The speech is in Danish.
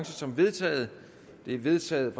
som vedtaget det er vedtaget